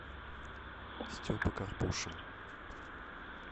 степа карпушин